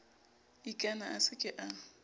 ikana a se ke a